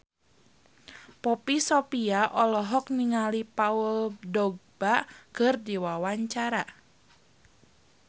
Poppy Sovia olohok ningali Paul Dogba keur diwawancara